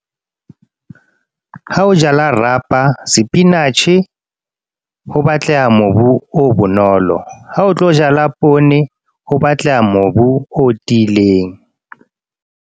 Ha o jala rapa, spinach-e ho batleha mobu o bonolo. Ha o tlo jala poone ho batleha mobu o tiileng.